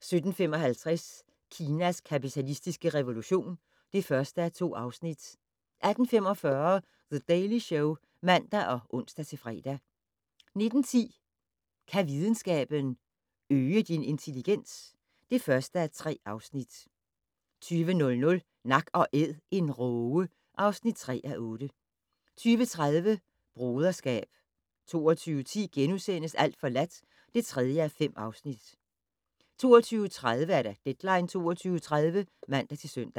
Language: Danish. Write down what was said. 17:55: Kinas kapitalistiske revolution (1:2) 18:45: The Daily Show (man og ons-fre) 19:10: Kan videnskaben - øge din intelligens? (1:3) 20:00: Nak & Æd - en råge (3:8) 20:30: Broderskab 22:10: Alt forladt (3:5)* 22:30: Deadline 22.30 (man-søn)